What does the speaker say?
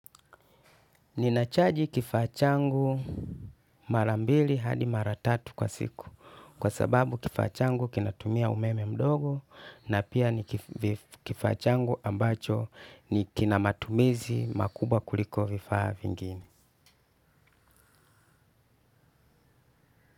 Ninachaji kifaa changu mara mbili hadi mara tatu kwa siku, kwa sababu kifaa changu kinatumia umeme mdogo na pia ni kifaa changu ambacho kina matumizi makubwa kuliko vifaa vingine.